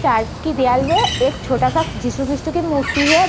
Church की दीवाल में एक छोटा सा जीसु क्रिस्ट की मूर्ति है।